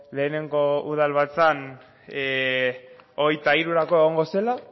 lehenengo udalbatzan hogeita hirurako egongo zela